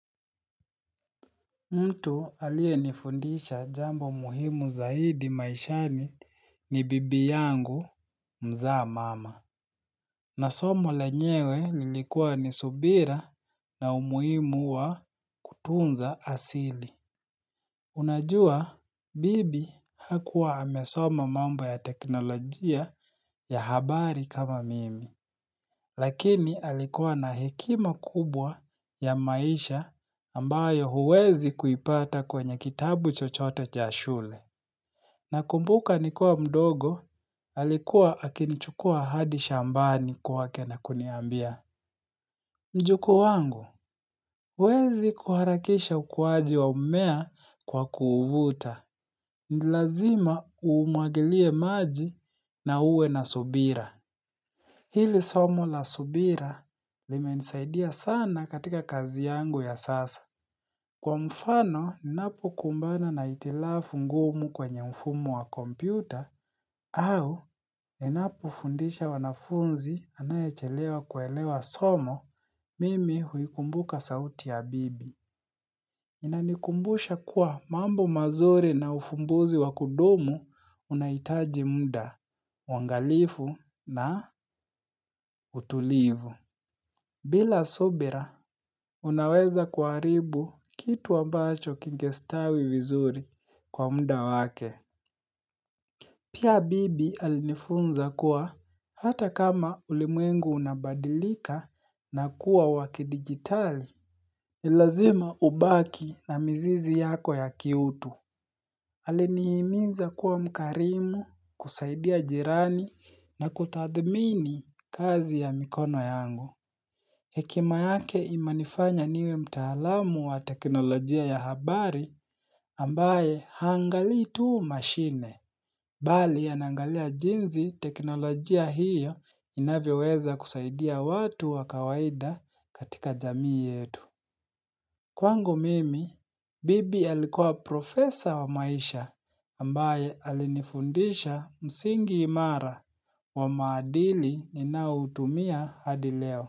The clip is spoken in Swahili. Mtu aliyenifundisha jambo muhimu zaidi maishani ni bibi yangu mzaa mama. Na somo lenyewe lilikuwa ni subira na umuhimu wa kutunza asili. Unajua bibi hakuwa amesoma mambo ya teknolojia ya habari kama mimi. Lakini alikuwa na hekima kubwa ya maisha ambayo huwezi kuipata kwenye kitabu chochote cha shule. Nakumbuka nikiwa mdogo, alikuwa akinichukua hadi shambani kwake na kuniambia. Mjukuu wangu, huwezi kuharakisha ukuwaji wa mmea kwa kuuvuta. Ni lazima umwagilie maji na uwe na subira. Hili somo la subira limenisaidia sana katika kazi yangu ya sasa. Kwa mfano ninapokumbana na hitilafu ngumu kwenye mfumo wa kompyuta au ninapofundisha wanafunzi anayechelewa kuelewa somo mimi huikumbuka sauti ya bibi. Inanikumbusha kuwa mambo mazuri na ufumbuzi wa kudumu unahitaji muda, uangalifu na utulivu. Bila subira, unaweza kuharibu kitu ambacho kingestawi vizuri kwa muda wake. Pia bibi alinifunza kuwa hata kama ulimwengu unabadilika na kuwa wakidigitali. Ni lazima ubaki na mzizi yako ya kiutu Aliniiminza kuwa mkarimu kusaidia jirani na kutadhmini kazi ya mikono yangu Hekima yake imenifanya niwe mtaalamu wa teknolojia ya habari ambaye haangali tuu mashine Bali yanaangalia jinzi teknolojia hiyo inavyoweza kusaidia watu wa kawaida katika jamii yetu Kwangu mimi, bibi alikuwa profesor wa maisha ambaye alinifundisha msingi imara wa maadili ninaotumia hadi leo.